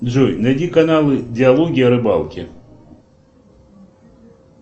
джой найди каналы диалоги о рыбалке